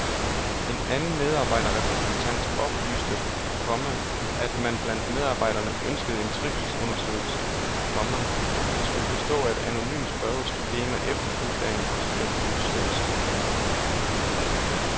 En anden medarbejderrepræsentant oplyste, komma at man blandt medarbejderne ønskede en trivselsundersøgelse, komma der skulle bestå af et anonymt spørgeskema efterfulgt af en konsulentundersøgelse. punktum